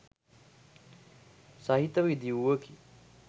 සහිතව ඉදි වූවකි